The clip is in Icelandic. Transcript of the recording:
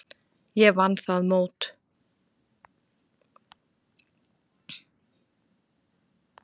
Ég vann það mót.